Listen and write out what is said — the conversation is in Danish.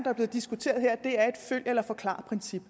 er blevet diskuteret her et følg eller forklar princip